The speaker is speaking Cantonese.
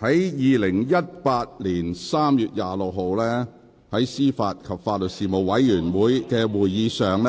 在2018年3月26日，於司法及法律事務委員會的會議上，